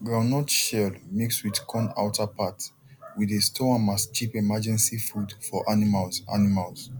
groundnut shell mix with corn outer part we dey store am as cheap emergency food for animals animals